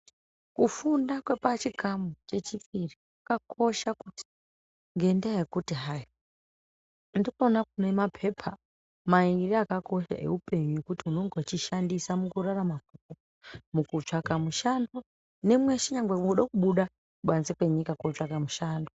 Kufunda kwepachikamu chechipiri kwakakosha kuti ngendaya yekuti hayi ndikuna kunemapepa mairi akakosha eupenyu ekuti unenge weishandisa mukurarama mukutsvaka mushando nemweshe nekuda kubuda kubanze mwenyika kunotsvake mushando.